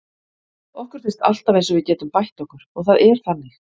Okkur finnst alltaf eins og við getum bætt okkur og það er þannig.